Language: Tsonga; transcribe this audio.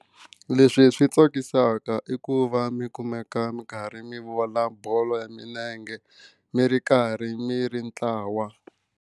Leswi swi tsakisaka i ku va mi kumeka mi karhi mi vona bolo ya milenge mi ri karhi mi ri ntlawa.